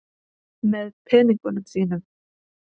Með peningunum þínum.